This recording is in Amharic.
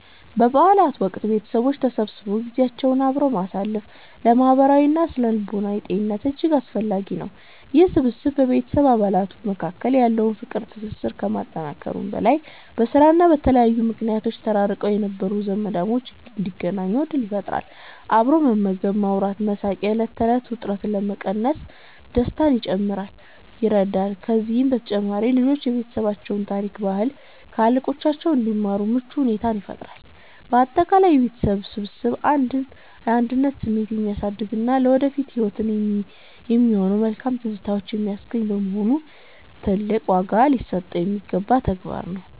በበዓላት ወቅት ቤተሰቦች ተሰብስበው ጊዜያቸውን አብረው ማሳለፍ ለማህበራዊና ስነ-ልቦናዊ ጤንነት እጅግ አስፈላጊ ነው። ይህ ስብስብ በቤተሰብ አባላት መካከል ያለውን ፍቅርና ትስስር ከማጠናከሩም በላይ፣ በስራና በተለያዩ ምክንያቶች ተራርቀው የነበሩ ዘመዳሞች እንዲገናኙ ዕድል ይፈጥራል። አብሮ መመገብ፣ ማውራትና መሳቅ የዕለት ተዕለት ውጥረትን ለመቀነስና ደስታን ለመጨመር ይረዳል። ከዚህም በተጨማሪ ልጆች የቤተሰባቸውን ታሪክና ባህል ከታላላቆቻቸው እንዲማሩ ምቹ ሁኔታን ይፈጥራል። ባጠቃላይ የቤተሰብ ስብስብ የአንድነት ስሜትን የሚያሳድግና ለወደፊት ህይወት የሚሆኑ መልካም ትዝታዎችን የሚያስገኝ በመሆኑ፣ ትልቅ ዋጋ ሊሰጠው የሚገባ ተግባር ነው።